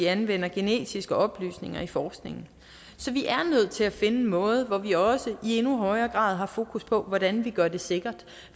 anvender genetiske oplysninger i forskningen så vi er nødt til at finde en måde hvor vi også i endnu højere grad har fokus på hvordan vi gør det sikkert